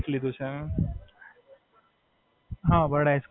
હાં ફોઇ એકલા. હું, મારો ભાઈ ફોઇ સાથે રહીએ છીએ.